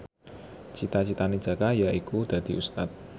cita citane Jaka yaiku dadi Ustad